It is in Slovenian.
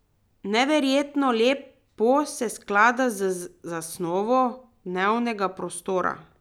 Neverjetno lepo se sklada z zasnovo dnevnega prostora.